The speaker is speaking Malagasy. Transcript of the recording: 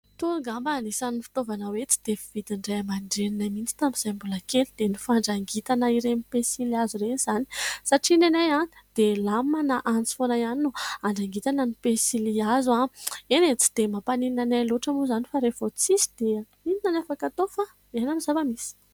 Itony angamba anisan'ny fitaovana hoe tsy dia fividin'ny ray aman-dreninay mihitsy tamin'izahay mbola kely dia ny fandrangitana ireny pensily hazo ireny izany. Satria ny anay dia "lame" na antsy foana ihany no andrangitana ny pensily hazo. Eny e, tsy dia mampaninona anay loatra moa izany fa rehefa tsy misy dia inona ny afaka atao fa miaina amin'ny zava-misy.